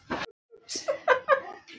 Ekki mínútu síðar